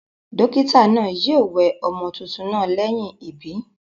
Dókítà naa yio we ọmọ tuntun naa léyìn ìbí